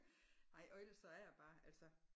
Nej og ellers så er æ bare altså